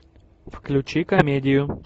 включи комедию